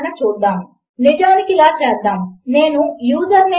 ఈ క్షణములో దానికి అర్ధము లేదు కనుక నేను అక్కడ ఏమీ వ్రాయబోవడము లేదు